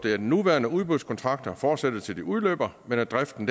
at nuværende udbudskontrakter fortsætter til de udløber men at driften